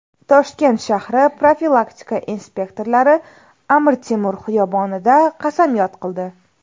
Toshkent shahri profilaktika inspektorlari Amir Temur xiyobonida qasamyod qildi.